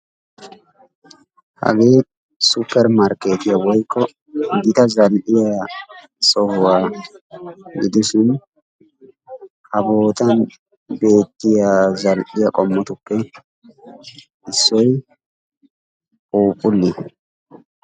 Hagee suppermarkketiya woykko gita zal"iyaa sohuwaa gidishin ha bootan beettiyaa zal"iyaa qommotuppe issoy phuuphuliyaa.